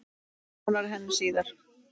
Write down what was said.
Nánar að henni síðar.